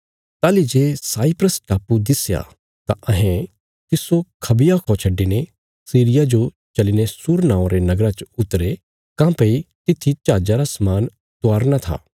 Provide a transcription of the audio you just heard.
ताहली जे साइप्रस टापु दिस्या तां अहें तिस्सो खबिया खौ छड्डिने सीरिया जो चलीने सूर नौआं रे नगरा च उतरे काँह्भई तित्थी जहाजा रा समान उतारना था